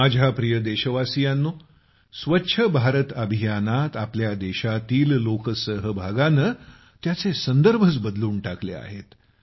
माझ्या प्रिय देशवासियांनो स्वच्छ भारत अभियानात आमच्या देशातील लोकसहभागानं त्याचे संदर्भच बदलून टाकले आहेत